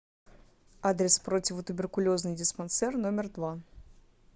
адрес противотуберкулезный диспансер номер два